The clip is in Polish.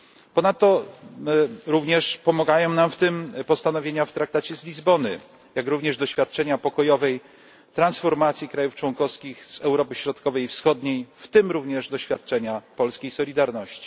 Ponadto również pomagają nam w tym postanowienia zawarte w Traktacie z Lizbony, jak również doświadczenia pokojowej transformacji krajów członkowskich z Europy Środkowej i Wschodniej, w tym również doświadczenia polskiej Solidarności.